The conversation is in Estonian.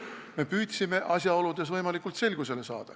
Me püüdsime asjaoludes võimalikult hästi selgusele saada.